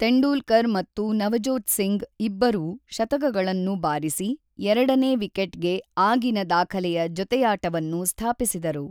ತೆಂಡೂಲ್ಕರ್ ಮತ್ತು ನವಜೋತ್ ಸಿಂಗ್ ಇಬ್ಬರೂ ಶತಕಗಳನ್ನು ಬಾರಿಸಿ ಎರಡನೇ ವಿಕೆಟ್‌ಗೆ ಆಗಿನ ದಾಖಲೆಯ ಜೊತೆಯಾಟವನ್ನು ಸ್ಥಾಪಿಸಿದರು.